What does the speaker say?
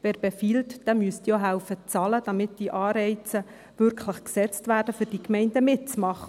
Wer befiehlt, der müsste auch bezahlen helfen, damit die Anreize wirklich gesetzt werden, dass die Gemeinden mitmachen.